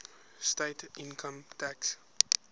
state income tax